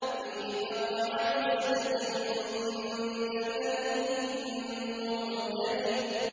فِي مَقْعَدِ صِدْقٍ عِندَ مَلِيكٍ مُّقْتَدِرٍ